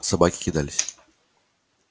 собаки кидались